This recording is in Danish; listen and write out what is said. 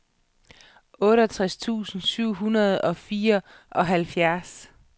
otteogtres tusind syv hundrede og fireoghalvfjerds